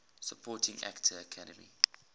supporting actor academy